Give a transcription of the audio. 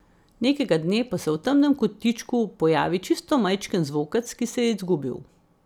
Nekega dne pa se v temnem kotičku pojavi čisto majčken zvokec, ki se je izgubil.